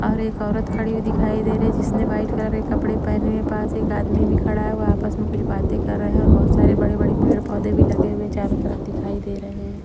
और एक औरत खड़ी हुई दिखाई दे रही है जिसने वाइट कलर के कपड़े पहने हैं पास एक आदमी भी खड़ा है वो आपस में कुछ बातें कर रहे हैं और बहुत सारे बड़े-बड़े पेड़-पौधे भी लगे हुए चारों तरफ दिखाई दे रहे हैं ।